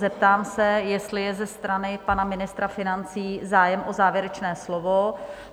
Zeptám se, jestli je ze strany pana ministra financí zájem o závěrečné slovo?